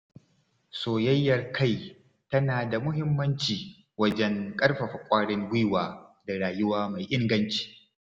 Soyayyar kai tana da muhimmanci wajen ƙarfafa ƙwarin gwiwa da rayuwa mai inganci.